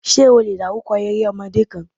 Ṣé o lè dárúkọ eré ọmọdé kan?